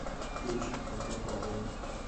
включи как попало